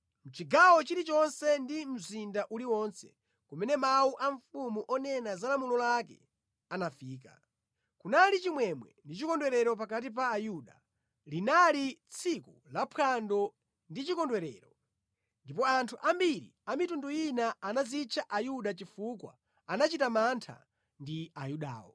Mʼchigawo chilichonse ndi mu mzinda uliwonse, kumene mawu a mfumu onena za lamulo lake anafika, kunali chimwemwe ndi chikondwerero pakati pa Ayuda. Linali tsiku la phwando ndi chikondwerero. Ndipo anthu ambiri a mitundu ina anazitcha Ayuda chifukwa anachita mantha ndi Ayudawo.